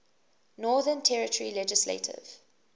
northern territory legislative